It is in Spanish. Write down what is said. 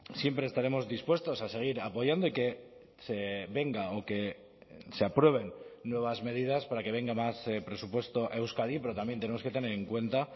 siempre estaremos dispuestos a seguir apoyando y que se venga o que se aprueben nuevas medidas para que venga más presupuesto a euskadi pero también tenemos que tener en cuenta